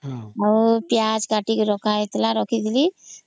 ଆଉ ପିଆଜ କଟିକିରି ରଖ ହେଇଥିଲା କଟିକିରି